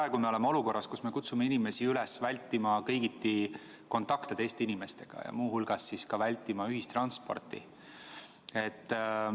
Me oleme praegu olukorras, kus me kutsume inimesi üles vältima kõigiti kontakte teiste inimestega, muu hulgas vältima ka ühistransporti.